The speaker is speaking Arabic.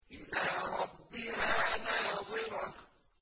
إِلَىٰ رَبِّهَا نَاظِرَةٌ